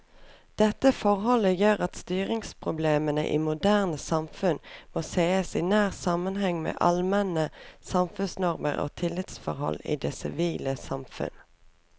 Dette forhold gjør at styringsproblemene i moderne samfunn må sees i nær sammenheng med allmenne samfunnsnormer og tillitsforhold i det sivile samfunn.